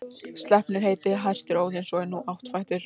Sleipnir heitir hestur Óðins og er hann áttfættur.